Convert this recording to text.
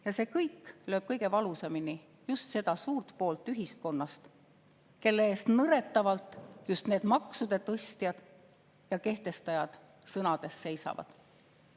Ja see kõik lööb kõige valusamini just seda poolt ühiskonnast, kelle eest nõretavalt just need maksude tõstjad ja kehtestajad sõnades seisavad.